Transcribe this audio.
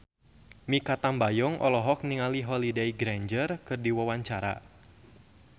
Mikha Tambayong olohok ningali Holliday Grainger keur diwawancara